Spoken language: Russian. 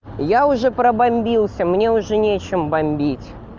я уже разрушился мне уже нечем бомбить